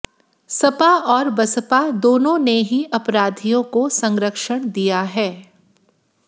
सपा और बसपा दोनों ने ही अपराधियों को सरंक्षण दिया है